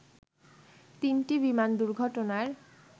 তিনটি বিমান দুর্ঘটনার